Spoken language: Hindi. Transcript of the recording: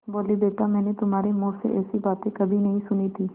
बोलीबेटा मैंने तुम्हारे मुँह से ऐसी बातें कभी नहीं सुनी थीं